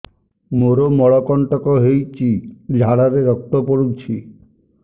ମୋରୋ ମଳକଣ୍ଟକ ହେଇଚି ଝାଡ଼ାରେ ରକ୍ତ ପଡୁଛି